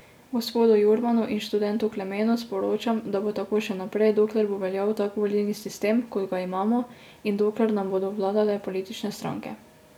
Gospodu Jurmanu in študentu Klemenu sporočam, da bo tako še naprej, dokler bo veljal tak volilni sistem, kot ga imamo, in dokler nam bodo vladale politične stranke.